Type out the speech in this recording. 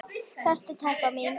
Sestu telpa mín, sagði hann.